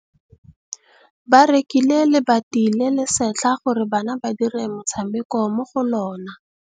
Ba rekile lebati le le setlha gore bana ba dire motshameko mo go lona.